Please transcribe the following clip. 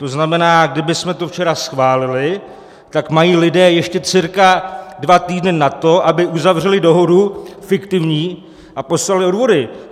To znamená, kdybychom to včera schválili, tak mají lidé ještě cca dva týdny na to, aby uzavřeli dohodu - fiktivní - a poslali odvody.